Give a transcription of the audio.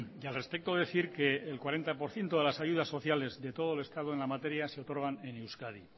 y al respecto decir que el cuarenta por ciento de las ayudas sociales de todo el estado en la materia se otorgan en euskadi